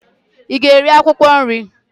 ị ga-eri akwụkwọ nri